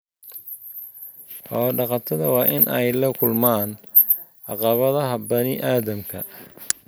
Xoolo-dhaqatada waa in ay la kulmaan caqabadaha bani'aadamka.